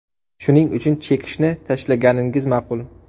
Shuning uchun chekishni tashlaganingiz ma’qul.